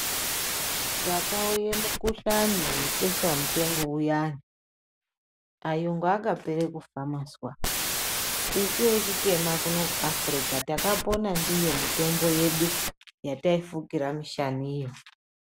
Pakauye mukhuhlani webeshamupengo uyani, ayungu akapere kufa mwazwa. Isu vechitema kunoku kuAfrica takapona ndiyo mitombo yedu ,yataifukira mishaniyo.